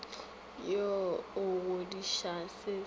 wo o kgodišang se se